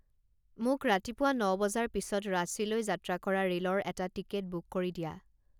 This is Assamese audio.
মোক ৰাতিপুৱা ন বজাৰ পিছত ৰাঁচীলৈ যাত্ৰা কৰা ৰে'লৰ এটা টিকেট বুক কৰি দিয়া